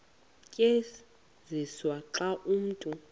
tyenziswa xa umntu